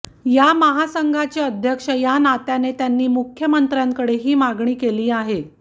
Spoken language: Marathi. या महासंघाचे अध्यक्ष या नात्याने त्यांनी मुख्यमंत्र्य़ांकडे ही मागणी केली आहे